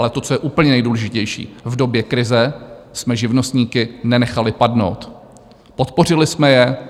Ale to, co je úplně nejdůležitější: v době krize jsme živnostníky nenechali padnout, podpořili jsme je.